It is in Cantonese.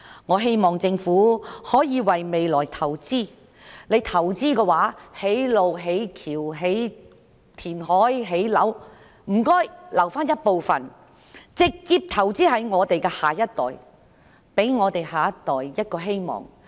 我希望政府可以為未來投資，不論政府投資多少金錢在興建大橋、道路、填海、建樓上，請留一部分金錢直接投資在下一代身上，給下一代一個希望。